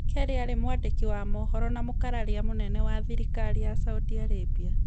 Kelly aarĩ mwandĩki wa mohoro na mũkararia mũnene wa thirikari ya Saudi Arabia